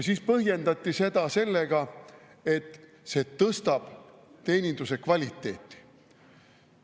Siis põhjendati sellega, et see tõstab teeninduse kvaliteeti.